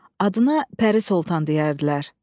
Adına Pəri Sultan deyərdilər.